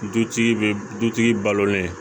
Dutigi bɛ dutigi balo